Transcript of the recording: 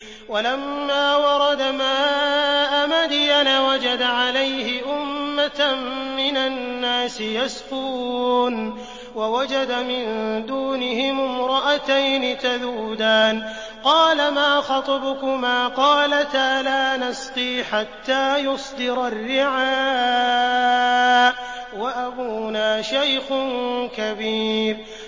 وَلَمَّا وَرَدَ مَاءَ مَدْيَنَ وَجَدَ عَلَيْهِ أُمَّةً مِّنَ النَّاسِ يَسْقُونَ وَوَجَدَ مِن دُونِهِمُ امْرَأَتَيْنِ تَذُودَانِ ۖ قَالَ مَا خَطْبُكُمَا ۖ قَالَتَا لَا نَسْقِي حَتَّىٰ يُصْدِرَ الرِّعَاءُ ۖ وَأَبُونَا شَيْخٌ كَبِيرٌ